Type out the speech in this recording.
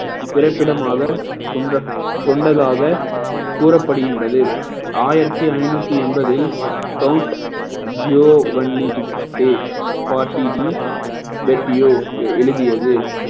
பிறப்பிடமாக கொண்ட~ கொண்டதாக கூறப்படுகின்றது ஆயிரத்தி ஐந்நூத்தி எண்பதில் count jio வண்ணி எழுதியது